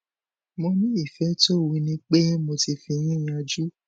mo ní ìfẹ tó wú ni pé mo ti fi yín yánju